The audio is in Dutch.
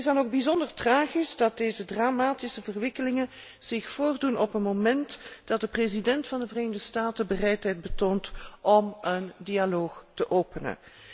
Het is dan ook bijzonder tragisch dat deze dramatische ontwikkelingen zich voordoen op een moment dat de president van de Verenigde Staten bereidheid toont om een dialoog te openen.